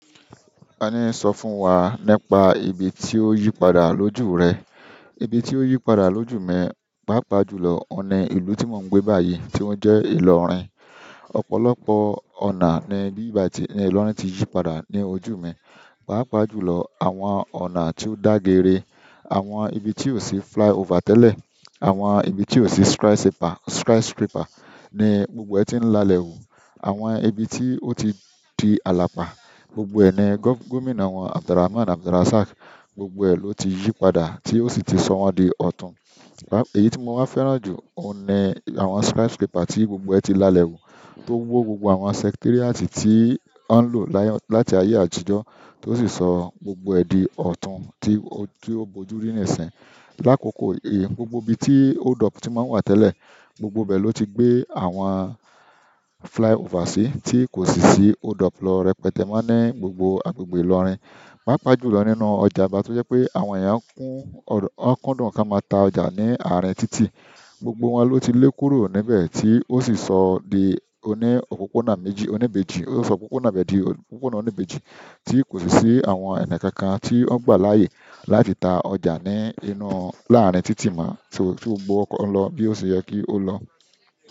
Tani ń sọ fún wa nípa ibi ti o yípadà lójú rẹ? Ibi tí ó yípadà lójú mi, pàápàá jùlọ ọ̀nà ìlú tí mò ń gbé báyìí tí ó ń jẹ́ Ilorin. Ọ̀pọ̀lọpọ̀ ọ̀nà ni ibí bàyìí ti, ni Ilorin ti yípadà ní ojú mi, pàápàá jùlọ àwọn ọ̀nà tí ó dá geere, àwọn ibi tí ò sí flyover tẹ́lẹ̀, àwọn ibi tí ò sí skyscraper ni gbogbo ẹti n lálẹ́ hù, àwọn ibi ti o ti di alapa, gbogbo ẹni governor àwọn Abdulrahman Abdulrasaq, gbogbo ẹ lọ ti yípadà ti o si ti sọ wọn di ọtun. Èyí ti mo wá fẹ́ràn jù, òun ni àwọn skyscraper tí gbogbo ẹ̀ ti lálẹ́ hù, tó wó gbogbo àwọn secretariat tí wọ́n ń lò láti ayé àtijọ́, tó sì sọ gbogbo ẹ̀ di ọtun ti o bojuri ni ẹsẹ. Lákòókò yìí, gbogbo ibi tí hold up ti máa ń wà tẹ́lẹ̀, gbogbo ibẹ̀ ló ti gbé àwọn flyover sí, tí kò sì sí hold up lọ rẹpẹtẹ mọ́ ní gbogbo àgbègbè Ilorin. Paapaa julọ nínú ọjà Aba, ti o jẹ pe àwọn ẹya ń kọndun ka ma ta ọjà ni arin titi, gbogbo wọn lọ ti le kúrò níbẹ̀ ti o si sọ di ọ̀nà òpópónà méjì, ọ̀nà ibeji, o sọ ọ̀pọ̀pọ̀nà ibeji, ti ko si si àwọn ẹni kankan ti n gba láàyè láti ta ọjà ní inú, láàárín títì mọ́, so tí gbogbo ọkọ̀ ń lọ bí ó ṣe yẹ kí ó lọ.